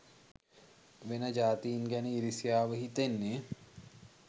වෙන ජාතීන් ගැන ඉරිසියාව හිතෙන්නේ